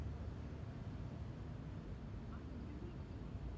ਆ ਹਿੰਦੀ ਨੀ ਲਿਖਤੀ ਮੈਂ।